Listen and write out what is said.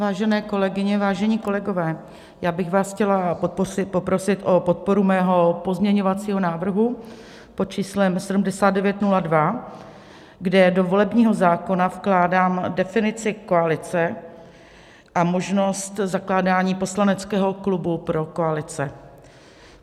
Vážené kolegyně, vážení kolegové, já bych vás chtěla poprosit o podporu svého pozměňovacího návrhu pod číslem 7902, kde do volebního zákona vkládám definici koalice a možnost zakládání poslaneckého klubu pro koalice.